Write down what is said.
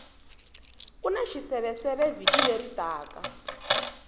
kuna xiseveseve vhiki leri taka